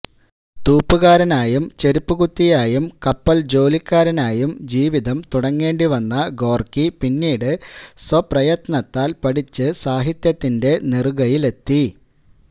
തൂപ്പുകാരനായും ചെരുപ്പുകുത്തിയായും കപ്പല് ജോലിക്കാരനായും ജീവിതം തുടങ്ങേണ്ടിവന്ന ഗോര്ക്കി പിന്നീട് സ്വപ്രയത്നത്താല് പഠിച്ച് സാഹിത്യത്തിന്റെ നെറുകയിലെത്തി